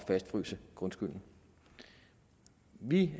fastfryse grundskylden vi